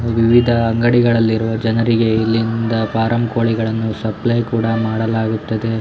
ವಿವಿಧ ಅಂಗಡಿಗಳಲ್ಲಿ ಇರುವ ಜನರಿಗೆ ಇಲ್ಲಿಂದ ಫಾರಂ ಕೋಳಿಗಳನ್ನು ಸಪ್ಲಯ್ ಕೂಡ ಮಾಡಲಾಗುತ್ತದೆ.